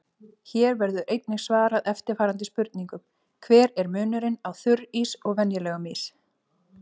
Hér verður einnig svarað eftirfarandi spurningum: Hver er munurinn á þurrís og venjulegum ís?